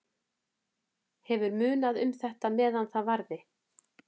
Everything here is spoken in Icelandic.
Hefur munað um þetta meðan það varði.